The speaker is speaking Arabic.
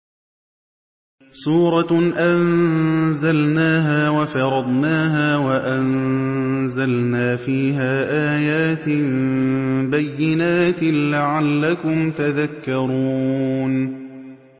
سُورَةٌ أَنزَلْنَاهَا وَفَرَضْنَاهَا وَأَنزَلْنَا فِيهَا آيَاتٍ بَيِّنَاتٍ لَّعَلَّكُمْ تَذَكَّرُونَ